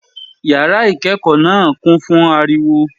Yàrá ìkékòó náà kún fún ariwo